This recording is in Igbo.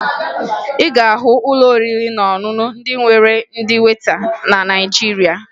Ị ga-ahụ ụlọ oriri na ọṅụṅụ ndị nwere ndị weta na Naịjirịa